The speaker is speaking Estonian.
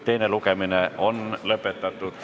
Teine lugemine on lõpetatud.